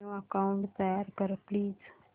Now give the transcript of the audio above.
new account तयार कर please